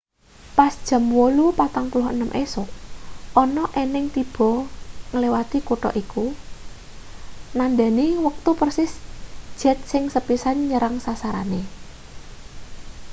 pas jam 8:46 esuk ana ening tiba ngliwati kutha iku nandhani wektu persis jet sing sepisan nyerang sasarane